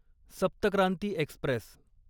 सप्त क्रांती एक्स्प्रेस